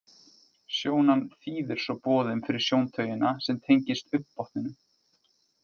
Sjónan þýðir svo boðin fyrir sjóntaugina sem tengist augnbotninum.